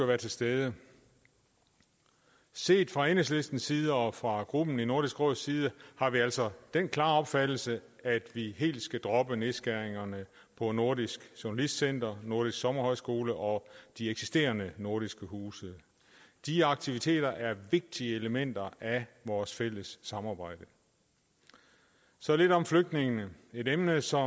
være til stede set fra enhedslistens side og fra gruppen i nordisk råds side har vi altså den klare opfattelse at vi helt skal droppe nedskæringerne på nordisk journalistcenter nordisk sommerhøjskole og de eksisterende nordiske huse de aktiviteter er vigtige elementer af vores fælles samarbejde så lidt om flygtningene et emne som